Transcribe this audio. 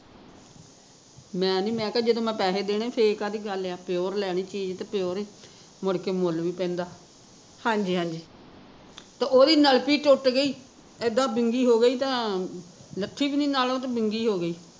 ਮੈਨੀ ਮੈਂ ਕਿਹਾ ਜਦੋਂ ਮੈਂ ਪੈਸੇ ਦੇਣੇ ਫੇਰ ਕਾਹਦੀ ਗੱਲ ਆ pure ਲੈਨੀ ਚੀਜ਼ ਤੇ pure ਈ, ਮੁੜ ਕੇ ਮੁੱਲ ਪੈਂਦਾ ਤੇ ਓਹਦੀ ਨਲਪੀ ਟੁੱਟ ਗਈ, ਏਦਾਂ ਵਿੰਗੀ ਹੋਗੀ ਤਾਂ ਲੱਥੀ ਵੀ ਨੀ ਨਾਲੋਂ ਤੇ ਵਿੰਗੀ ਹੋਗੀ